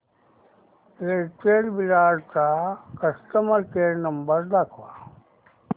Airtel Virar चा customer care number दाखव